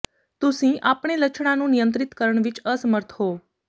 ਤੁਸੀਂ ਆਪਣੇ ਲੱਛਣਾਂ ਨੂੰ ਨਿਯੰਤਰਿਤ ਕਰਨ ਵਿੱਚ ਅਸਮਰੱਥ ਹੋ